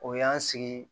O y'an sigi